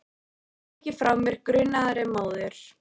Ég ýti ekki frá mér grunaðri móður.